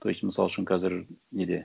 то есть мысал үшін қазір неде